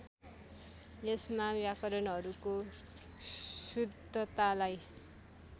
यसमा व्याकरणहरूको शुद्धतालाई